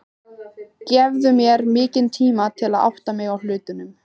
Gefðu mér meiri tíma til að átta mig á hlutunum.